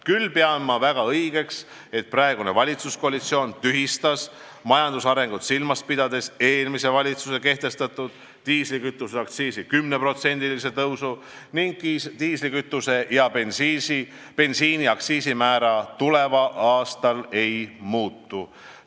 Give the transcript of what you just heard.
Küll pean ma väga õigeks, et praegune valitsuskoalitsioon tühistas majandusarengut silmas pidades eelmise valitsuse kehtestatud diislikütuseaktsiisi 10%-lise tõusu ning diislikütuse ja bensiini aktsiisimäär tuleval aastal ei muutu.